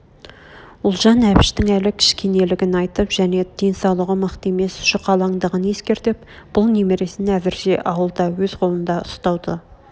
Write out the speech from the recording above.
ұлжан әбіштің әлі кішкенелгін айтып және денсаулығы мықты емес жұқалаңдығын ескертіп бұл немересін әзірше ауылда өз қолында ұстауды